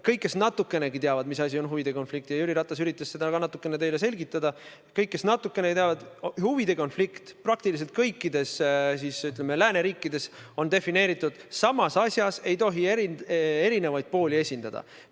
Kõik, kes natukenegi teavad, mis asi on huvide konflikt – Jüri Ratas üritas seda ka teile selgitada –, teavad seda, et huvide konflikt praktiliselt kõikides lääneriikides on defineeritud nii: samas asjas ei tohi erinevaid pooli esindada.